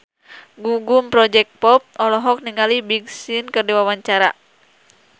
Gugum Project Pop olohok ningali Big Sean keur diwawancara